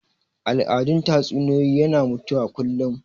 Al'adun tatsuniyoyi yana mutuwa kullum